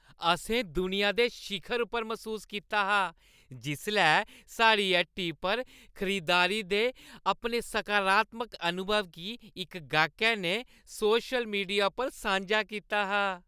असें दुनिया दे शिखर पर मसूस कीता हा जिसलै साढ़ी हट्टी पर खरीदारी दे अपने सकारात्मक अनुभव गी इक गाह्कै ने सोशल मीडिया उप्पर सांझा कीता हा।